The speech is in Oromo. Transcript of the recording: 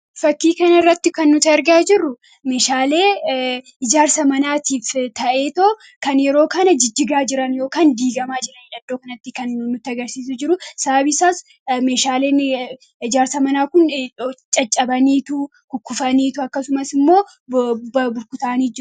Fakkii kana irratti kan nuti argaa jirru, meeshaalee ijaarsa manaatiif ta'ee kan yeroo kana jijjigaa jiran yookaan diiggamaa jiran kan mullisudha.